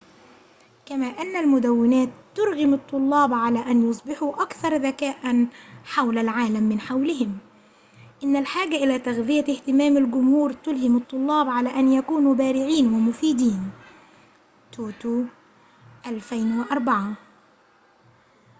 كما أن المدونات ترغم الطّلاب على أن يصبحوا أكثر ذكاء حول العالم من حولهم". إن الحاجة إلى تغذية اهتمام الجمهور تلهم الطلاب على أن يكونوا بارعين ومفيدين toto، 2004